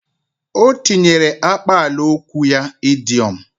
O tinyere akpalaokwu n’okwu ya idoiom